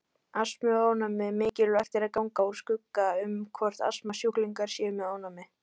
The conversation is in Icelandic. Astmi og ofnæmi Mikilvægt er að ganga úr skugga um hvort astmasjúklingar séu með ofnæmi.